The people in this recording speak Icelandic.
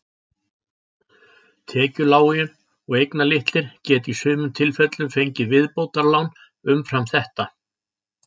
Tekjulágir og eignalitlir geta í sumum tilfellum fengið viðbótarlán umfram þetta.